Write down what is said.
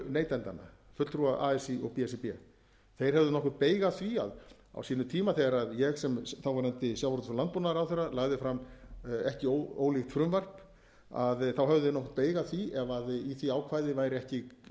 neytendanna fulltrúa así og b s r b þeir höfðu nokkurn beyg af því að á sínum tíma þegar ég sem þáverandi sjávarútvegs og landbúnaðarráðherra lagði fram ekki ólíkt frumvarp að þá höfðu þeir nokkurn beyg af því ef í því ákvæði væri ekki kveðið á um það að